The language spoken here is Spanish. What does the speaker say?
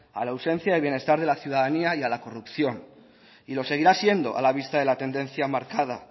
a la ausencia del bienestar de la ciudadanía y a la corrupción y lo seguirá siendo a la vista de la tendencia marcada